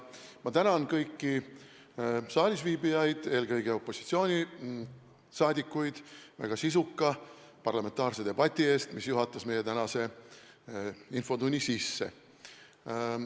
Ma tänan kõiki saalisviibijaid, eelkõige opositsiooniliikmeid, väga sisuka parlamentaarse debati eest, mis juhatas sisse meie tänase infotunni!